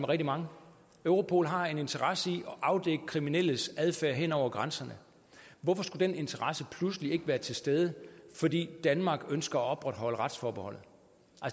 rigtig mange europol har en interesse i at afdække kriminelles adfærd hen over grænserne hvorfor skulle den interesse pludselig ikke være til stede fordi danmark ønsker at opretholde retsforbeholdet